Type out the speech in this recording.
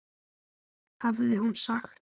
hafði hún sagt.